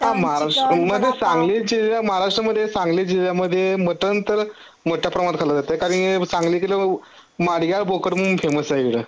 अ महाराष्ट्रामध्ये सांगली महाराष्ट्रामध्ये सांगली जिल्ह्यामध्ये मटनतर मोठ्याप्रमाणात खाल जातय कारण सांगली मादग्या बोकड़ म्हणून फेमस आहे जरा